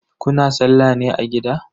Kuna sallah ne a gida?